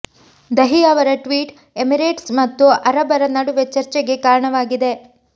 ದಹಿ ಅವರ tweet Emirates ಮತ್ತು ಅರಬರ ನಡುವೆ ಚರ್ಚೆಗೆ ಕಾರಣವಾಗಿದೆ